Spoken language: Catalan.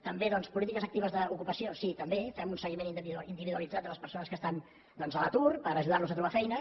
també doncs polítiques actives d’ocupació sí també fem un seguiment individualitzat de les persones que estan doncs a l’atur per ajudar los a trobar feina